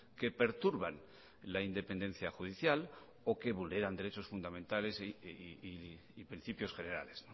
que perturban la independencia judicial o que vulneran derechos fundamentales y principios generales